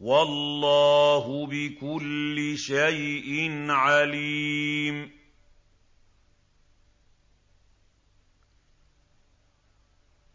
وَاللَّهُ بِكُلِّ شَيْءٍ عَلِيمٌ